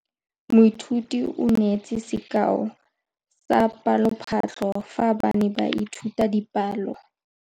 Moithuti o neetse sekaô sa palophatlo fa ba ne ba ithuta dipalo.